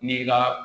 N'i ka